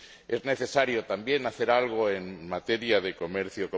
Es necesario también hacer algo en materia de comercio.